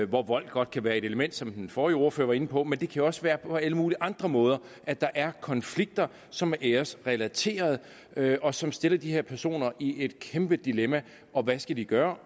hvor vold godt kan være et element som den forrige ordfører var inde på men det kan jo også være på alle mulige andre måder at der er konflikter som er æresrelaterede og som stiller de her personer i et kæmpe dilemma og hvad skal de gøre